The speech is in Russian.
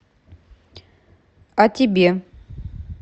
а тебе